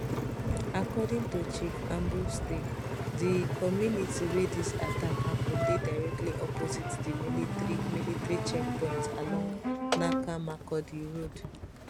according to chief abomtse di community wey dis attack happun dey directly opposite di military military check point along naka makurdi road